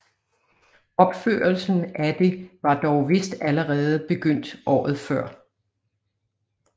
Opførelsen af det var dog vist allerede begyndt året før